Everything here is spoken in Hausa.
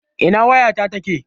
Ina wayata take?